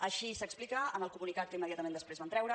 així s’explica en el comunicat que immediatament després van treure